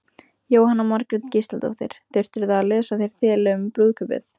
Jóhanna Margrét Gísladóttir: Þurftirðu að lesa þér til um brúðkaupið?